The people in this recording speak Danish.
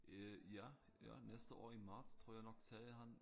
Øh ja ja næste år i marts tror jeg nok sagde han